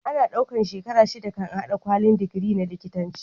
Ana ɗaukar shekara shida kan a hada kwalin digiri na likitanci